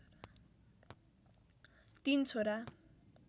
३ छोरा